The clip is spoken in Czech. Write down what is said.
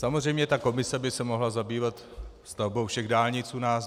Samozřejmě ta komise by se mohla zabývat stavbou všech dálnic u nás.